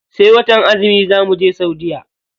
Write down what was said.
Sai watan azumi za muje saudiya.